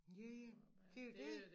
Ja ja det jo dét